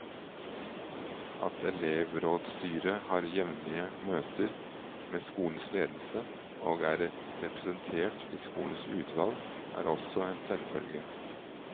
At elevrådsstyret har jevnlige møter med skolens ledelse og er representert i skolens utvalg, er også en selvfølge.